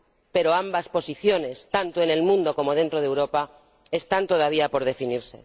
Pero ambas posiciones, tanto en el mundo como dentro de Europa, están todavía por definir.